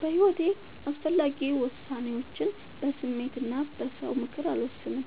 በሒወቴ አስፈላጊ ወሳኔዎችን በስሜት እና በ ሰው ምክር አልወሰንም።